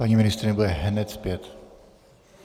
Paní ministryně bude hned zpět.